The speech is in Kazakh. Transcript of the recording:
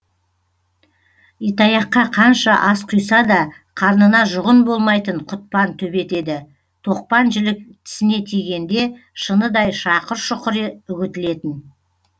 итаяққа қанша ас құйса да қарнына жұғын болмайтын құтпан төбет еді тоқпан жілік тісіне тигенде шыныдай шақұр шұқыр үгітілетін